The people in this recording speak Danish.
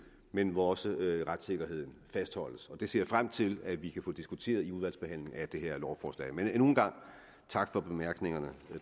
men hvor også retssikkerheden fastholdes det ser jeg frem til at vi kan få diskuteret i udvalgsbehandlingen af det her lovforslag men endnu en gang tak for bemærkningerne